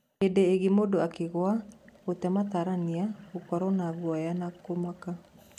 Hĩndĩ ĩngĩ mũndũ akĩgũa gũte matarania, gũkorwo na nguoya na kũmaka.